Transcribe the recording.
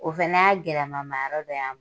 O fɛnɛ y'a gɛlɛma ma yɔrɔ dɔ y'an